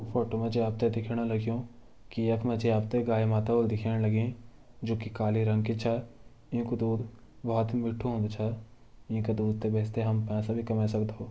फोटो मा जी आप त दिखेण लग्युं की यख मा जी आप त गाय माता होली दिखेण लगीं जो की काले रंग की छ येंकु दूध बहोत ही मिठु होन्दु छ येंकु दूध त बेची त हम पैसे भी कमे सक्दो।